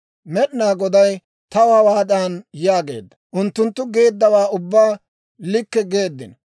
«Med'inaa Goday taw hawaadan yaageedda; ‹Unttunttu geeddawaa ubbaa likke geeddino.